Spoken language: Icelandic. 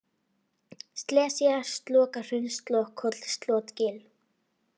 Slesía, Slokahraun, Slokhóll, Slotgil